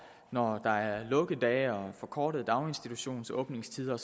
når der er lukkedage og forkortede daginstitutionsåbningstider